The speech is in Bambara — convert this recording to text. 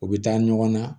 U bɛ taa ɲɔgɔn na